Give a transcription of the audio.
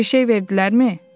Bir şey verdilərmi?”